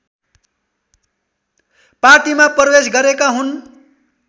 पार्टीमा प्रवेश गरेका हुन्